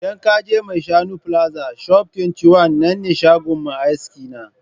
Idan ka je maishanu plaza shop 21 nan ne shagon mai aski na.